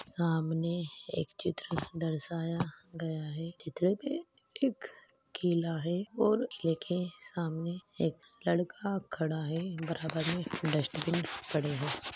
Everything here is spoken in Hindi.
सामने एक चित्र दर्शाया गया है चित्र के एक किला है और किले के सामने एक लड़का खड़ा है बराबर में डस्टबिन पड़े है।